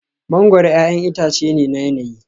Mangoro 'ya'yan itace ne na yanayi